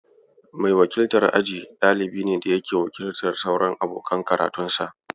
Mai wakiltar aji, dalibi ne da yake wakiltar sauran abokan karatunsa.